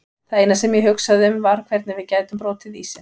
Það eina sem ég hugsaði um var hvernig við gætum brotið ísinn.